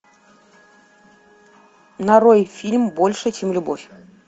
нарой фильм больше чем любовь